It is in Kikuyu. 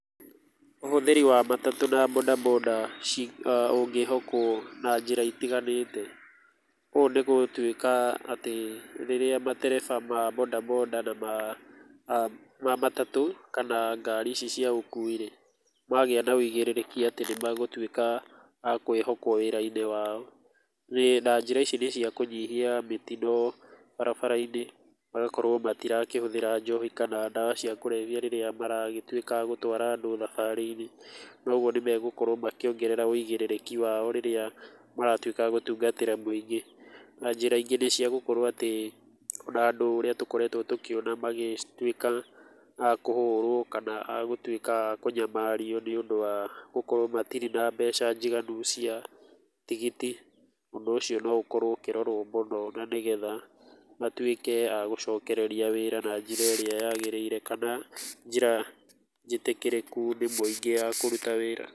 Ũhũthĩri wa matatũ na boda boda ci ũngĩhokwo na njĩra itiganĩte. Ũũ nĩgũtuĩka atĩ rĩrĩa matereba ma boda boda na ma, ma matatũ kana ngari ici cia ũkuwi-rĩ magĩa na wĩigĩrĩrĩkia atĩ nĩmegũtuĩka a kwĩhokwo wĩra-inĩ wao. Na, njĩra ici nĩ cia kũnyihia mĩtino barabara-inĩ, magakorwo matirakĩhũthĩra njohi kana ndawa cia kũrebia rĩrĩa maragĩtuĩka a gũtwara andũ thabarĩ-inĩ, na ũguo nĩmegũkorwo makĩongerera wĩigĩrĩrĩki wao rĩrĩa maratuĩka a gũtungatĩra mũingĩ. Na njĩra ingĩ nĩciagũkorwo atĩ na andũ ũrĩa tũkoretwo tũkĩona magĩtuĩka a kũhũrwo kana agũtuĩka a kũnyamario nĩũndũ wa gũkrowo matirĩ na mbeca njiganu cia tigiti. Ũndũ ũcio no ũkorwo ũkĩrorwo mũno na nĩgetha matuĩke a gũcokereria wĩra na njĩra ĩrĩa yagĩrĩire, kana njĩra njĩtĩkĩrĩku nĩ mũingĩ ya kũruta wĩra.